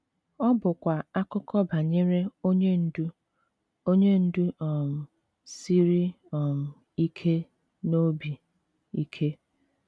Ọ bụkwa akụkọ banyere onye ndu onye ndu um siri um ike na obi ike.